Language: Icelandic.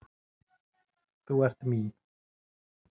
Þú ert mín.